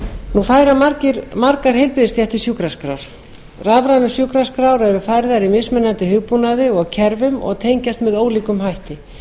nú færa margar heilbrigðisstéttir sjúkraskrár rafrænar sjúkraskrár eru færðar í mismunandi hugbúnaði og kerfum og tengjast með ólíkum hætti